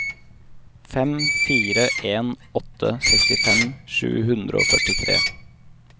fem fire en åtte sekstifem sju hundre og førtitre